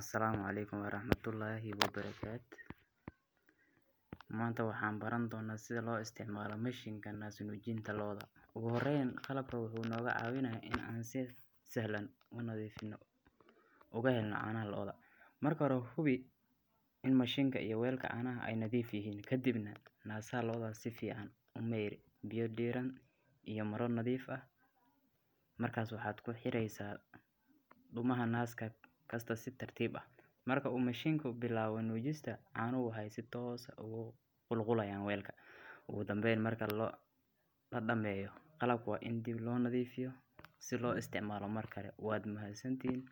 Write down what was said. asalam aleikum warahmatullah wabarakat manta waxan baran dona sida loo isticmaalo mashinkan nas nuujinta lo'da ogu horeen qalab wuxuu naga caawinaya inan si sahlan unadiifino oga helno caanaha lo'da, marka hore hubi ini mashinka iyo weka caanaha ay nadiif yihiin kadib na nasaha lo'da si fican kumeyr biya dheeri iyo mara nadiif ah markas waxad kuxireysa dhuumaha naska si tartib ah, marka uu mashinka bilabo nujista caanihu waxay si toos ah ogu qulqulayan welka, ogu dambeyn marka la dhameeyo qalabka waa in dib loo nadiifiyo si loo isticmaalo Mar kale wad mahadsantihin,